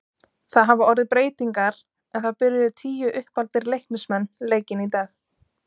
Það hafa orðið breytingar en það byrjuðu tíu uppaldir Leiknismenn leikinn í dag.